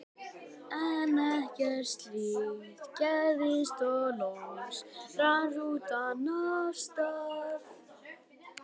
En ekkert slíkt gerðist og loks rann rútan af stað.